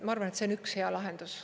Ma arvan, et see on üks hea lahendus.